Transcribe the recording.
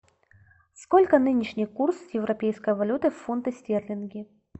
сколько нынешний курс европейской валюты в фунты стерлинги